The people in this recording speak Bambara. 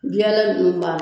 nun ba